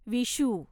Vishu